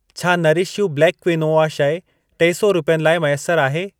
छा Nourish You black quinoa शइ टे सौ रुपियनि लाइ मैसर आहे?